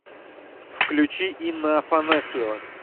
включи инна афанасьева